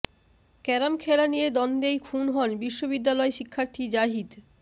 carom খেলা নিয়ে দ্বন্দ্বেই খুন হন বিশ্ববিদ্যালয় শিক্ষার্থী জাহিদ